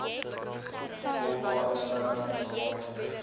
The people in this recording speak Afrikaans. oba eksterne vaardighede